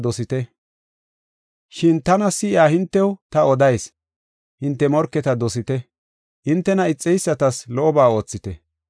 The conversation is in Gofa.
“Shin tana si7iya hintew ta odayis; hinte morketa dosite; hintena ixeysatas lo77oba oothite.